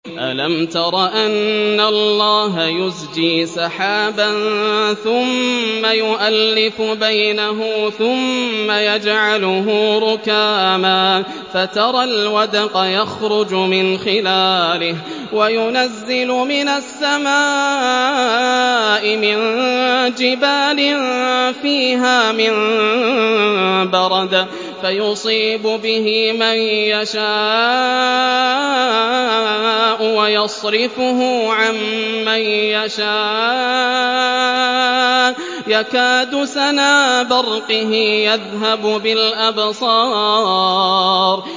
أَلَمْ تَرَ أَنَّ اللَّهَ يُزْجِي سَحَابًا ثُمَّ يُؤَلِّفُ بَيْنَهُ ثُمَّ يَجْعَلُهُ رُكَامًا فَتَرَى الْوَدْقَ يَخْرُجُ مِنْ خِلَالِهِ وَيُنَزِّلُ مِنَ السَّمَاءِ مِن جِبَالٍ فِيهَا مِن بَرَدٍ فَيُصِيبُ بِهِ مَن يَشَاءُ وَيَصْرِفُهُ عَن مَّن يَشَاءُ ۖ يَكَادُ سَنَا بَرْقِهِ يَذْهَبُ بِالْأَبْصَارِ